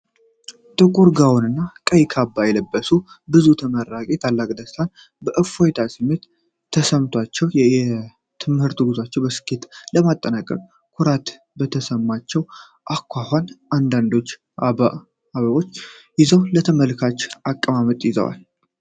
በጥቁር ጋውን እና ቀይ ካባ የለበሱ ብዙ ተመራቂዎች ታላቅ ደስታና የእፎይታ ስሜት ተሰምቷቸዋል። የትምህርት ጉዟቸውን በስኬት በማጠናቀቃቸው ኩራት በተሰማቸው አኳኋን፣ አንዳንዶቹ አበቦችን ይዘው ለተመልካች አቀማመጥ ይዘዋል።